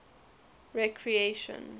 recreation